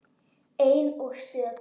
Ein og stök.